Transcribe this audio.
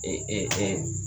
E ɛ ɛ